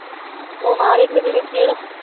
ಓಹ್ ಮಾಡಿದ್ಲು ಬಿಡು, ಹೇಳು.